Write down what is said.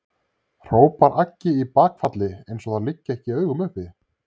hrópar Aggi í bakfalli eins og það liggi ekki í augum uppi.